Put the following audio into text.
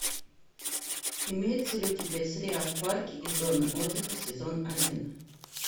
имеется ли у тебя сериал парки и зоны отдыха сезон один